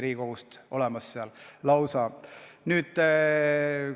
Meil on ju seal lausa kaks liiget Riigikogust.